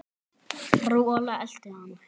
Rola elti hann.